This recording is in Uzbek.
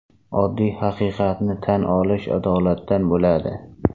Oddiy haqiqatni tan olish adolatdan bo‘ladi.